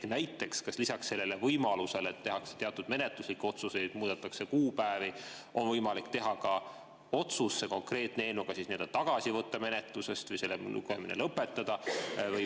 Kas näiteks lisaks sellele võimalusele, et tehakse teatud menetluslikke otsuseid, muudetakse kuupäevi, on võimalik teha ka otsus see konkreetne eelnõu tagasi võtta menetlusest või selle lugemine lõpetada?